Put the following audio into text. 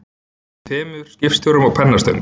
Yfir tveimur skipstjórum og pennastöng.